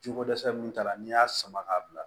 Jiko dɛsɛ min t'a la n'i y'a sama k'a bila